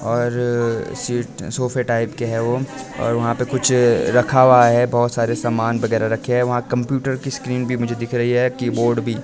और सीट सोफे टाइप के हैं वो और वहा पे कुछ रखा हुआ है बहोत सारे सामान वगैरा रखे है वहां कंप्यूटर की स्क्रीन भी मुझे दिख रही है कीबोर्ड भी।